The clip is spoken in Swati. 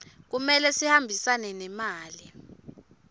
kumele sihambisane nemali